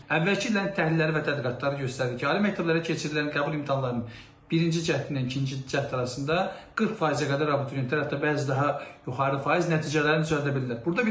Əvvəlki illərin təhlilləri və tədqiqatları göstərir ki, ali məktəblərə keçirilən qəbul imtahanlarının birinci cəhdlə ikinci cəhd arasında 40%-ə qədər abituriyentlər, hətta bəzi daha yuxarı faiz nəticələrini düzəldə bilirlər.